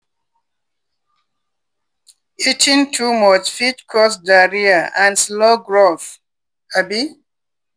eating too much fit cause diarrhea and slow growth. um